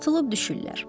Atılıb düşürlər.